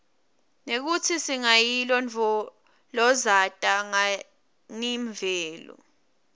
nekutsi singayilondvolozata nganiimvelo